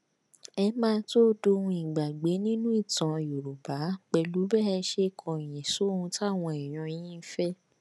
ẹ máà tóó dohun ìgbàgbé nínú ìtàn yorùbá pẹlú bẹ ẹ ṣe kọyìn sóhun táwọn èèyàn yín fẹ